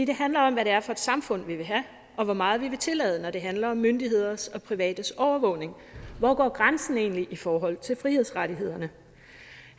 det handler om hvad det er for et samfund vi vil have og hvor meget vi vil tillade når det handler om myndigheders og privates overvågning hvor går grænsen egentlig i forhold til frihedsrettighederne